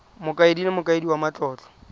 mokaedi le mokaedi wa matlotlo